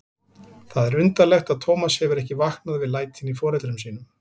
Það er undarlegt að Tómas hefur ekki vaknað við lætin í foreldrum sínum.